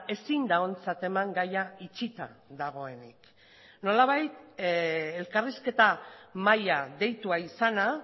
ezin da ontzat eman gaia itxita dagoenik nolabait elkarrizketa maila deitua izana